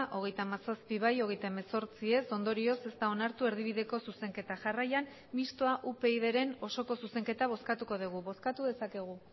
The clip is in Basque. hogeita hamazazpi bai hogeita hemezortzi ez ondorioz ez da onartu erdibideko zuzenketa jarraian mistoa upydren osoko zuzenketa bozkatuko dugu bozkatu dezakegu